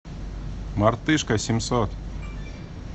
мартышка семьсот